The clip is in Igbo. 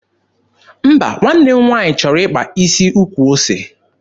Mba, nwanne m nwaanyị chọrọ ịkpa isi ukwu ose.